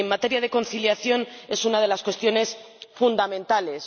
Y en materia de conciliación es una de las cuestiones fundamentales.